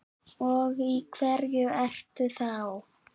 Og í hverju ertu þá?